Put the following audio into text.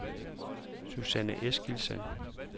Susanne Eskildsen